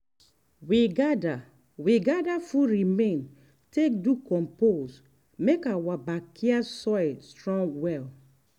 we gather we gather food remain take do compost make our backyard soil strong well.